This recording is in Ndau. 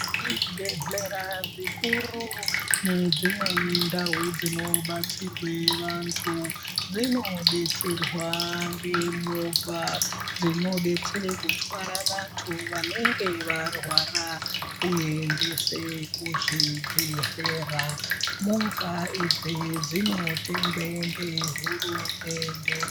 Zvibhedhlera zvikuru nedzimweni ndau dzinobatsirwe vantu dzinodetserwa ngemovha dzinodetsere kutwara vantu vanenge varwara kuendese kuzvibhedhlera. Movha idzi dzinotengwe ngehurumende.